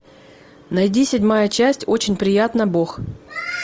найди седьмая часть очень приятно бог